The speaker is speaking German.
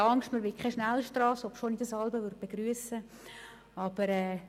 Keine Angst, wir wollen keine Schnellstrasse, obschon ich das manchmal begrüssen würde.